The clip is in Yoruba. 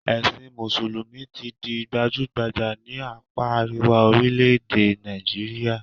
Ẹ̀sìn mùsùlùmí ti di gbajúgbajà ní àpá àríwá orílẹ̀-èdè Nàìjíríà